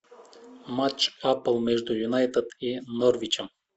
матч апл между юнайтед и норвичем